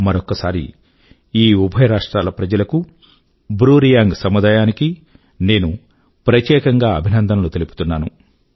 మరొక్కసారి ఈ ఉభయ రాజ్యాల ప్రజలకూ బ్రూ రియాంగ్ సముదాయాని కీ నేను ప్రత్యేకం గా అభినందనలు తెలుపుతున్నాను